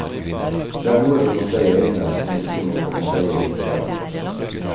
Det er noe vi må se i øynene og som vi må komme seierrikt fra.